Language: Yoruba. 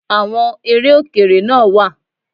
Àwọn eré Òkèrè náà wá